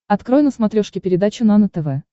открой на смотрешке передачу нано тв